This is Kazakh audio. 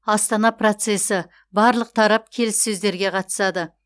астана процесі барлық тарап келіссөздерге қатысады